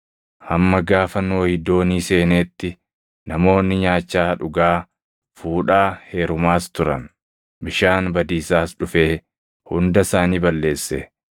Hamma gaafa Nohi doonii seeneetti namoonni nyaachaa, dhugaa, fuudhaa, heerumaas turan. Bishaan badiisaas dhufee hunda isaanii balleesse.